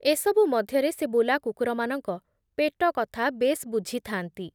ଏସବୁ ମଧ୍ୟରେ ସେ ବୁଲାକୁକୁରମାନଙ୍କ ପେଟକଥା ବେଶ୍ ବୁଝିଥାନ୍ତି ।